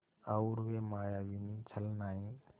और वे मायाविनी छलनाएँ